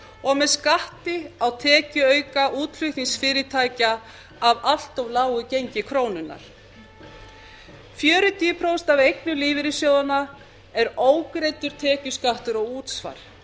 og með skatti á tekjuauka útflutningsfyrirtækja af allt lágu gengi krónunnar fjörutíu prósent af eignum lífeyrissjóðanna er ógreiddur tekjuskattur og útsvar